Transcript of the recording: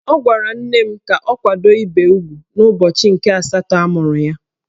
Ọ gwara nne m ka ọ kwado ibe ugwu n'ụbọchị nke asatọ amụrụ ya.